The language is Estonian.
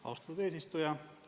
Austatud eesistuja!